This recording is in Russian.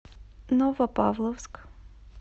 новопавловск